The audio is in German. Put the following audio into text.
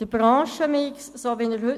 Der heutige Branchenmix wäre gefährdet.